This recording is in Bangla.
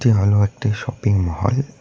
এ হলো একটি শপিংমল ।